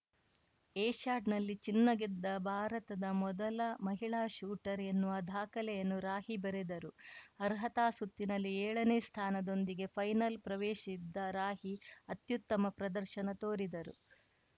ಏಷ್ಯಾಡ್‌ನಲ್ಲಿ ಚಿನ್ನ ಗೆದ್ದ ಭಾರತದ ಮೊದಲ ಮಹಿಳಾ ಶೂಟರ್‌ ಎನ್ನುವ ದಾಖಲೆಯನ್ನು ರಾಹಿ ಬರೆದರು ಅರ್ಹತಾ ಸುತ್ತಿನಲ್ಲಿ ಎಳನೇ ಸ್ಥಾನದೊಂದಿಗೆ ಫೈನಲ್‌ ಪ್ರವೇಶಿಸಿದ್ದ ರಾಹಿ ಅತ್ಯುತ್ತಮ ಪ್ರದರ್ಶನ ತೋರಿದರು